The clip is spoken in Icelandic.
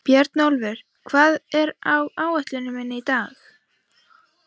Bjarnólfur, hvað er á áætluninni minni í dag?